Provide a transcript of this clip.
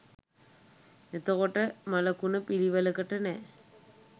එතකොට මළකුණ පිළිවෙලකට නෑ